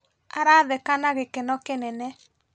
Aratheka na gĩkeno kĩnene